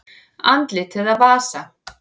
Andlit eða vasa?